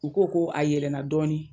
U ko ko a yɛlɛnna dɔɔnin